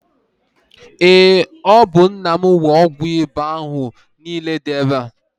Ee ọ bụ nna mụ nwe ọgwụ iba ahụ nịịle dị ebea